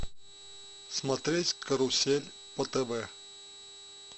смотреть карусель по тв